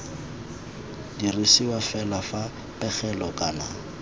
dirisiwa fela fa pegelo kana